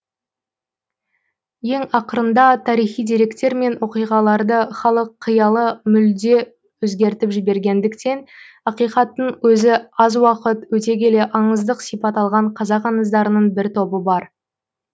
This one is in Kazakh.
ең ақырында тарихи деректер мен оқиғаларды халық қиялы мүлде өзгертіп жібергендіктен ақиқаттың өзі аз уақыт өте келе аңыздық сипат алған қазақ аңыздарының бір тобы бар